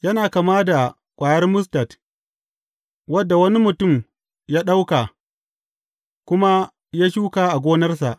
Yana kama da ƙwayar mustad, wadda wani mutum ya ɗauka, kuma ya shuka a gonarsa.